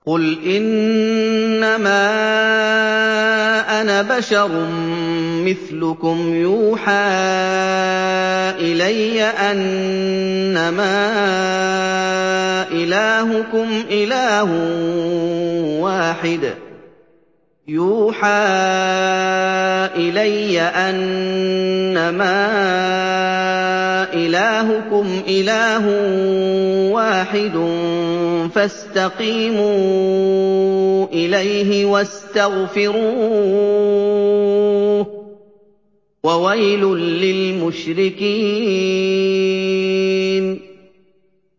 قُلْ إِنَّمَا أَنَا بَشَرٌ مِّثْلُكُمْ يُوحَىٰ إِلَيَّ أَنَّمَا إِلَٰهُكُمْ إِلَٰهٌ وَاحِدٌ فَاسْتَقِيمُوا إِلَيْهِ وَاسْتَغْفِرُوهُ ۗ وَوَيْلٌ لِّلْمُشْرِكِينَ